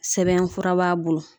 Sɛbɛnfura b'a bolo.